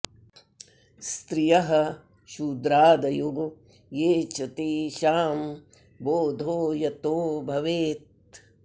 स्त्रियः शूद्रादयो ये च तेषां बोधो यतो भवेत्